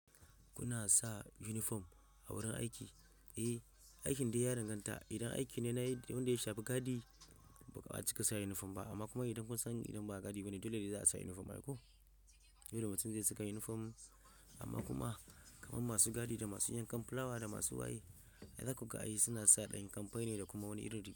Kuna sa uniform a wurin aiki? Eh, aikin dai ya danganta. Idan aiki ne na wanda ya shafi gadi ba za su ka sa uniform ba amma kuma idan kun san idan ba gadi bane dole ne za a sa uniform. Akwai yawanci masu gadi da masu yankan fulawa da masu waye, idan kuka yi suna sa ɗan kamfani ne da kuma wani irin rigar.